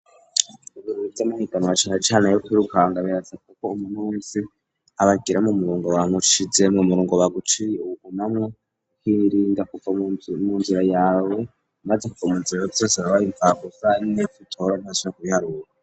Ibintu vy'amahiganwa bacaracani yo kuri ruhanga bebaza kuko umuntu wese abagiramo murungo ba mushize mu murungo baguci ubugunamwa w'irinda kuka mu nzira yawe baze kuka mu nzira be vyose vyaba ye impfagusa kubihariwo.